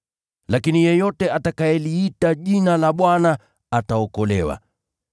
Na kila mtu atakayeliitia jina la Bwana, ataokolewa.’